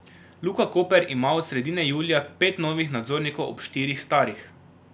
Luka Koper ima od sredine julija pet novih nadzornikov ob štirih starih.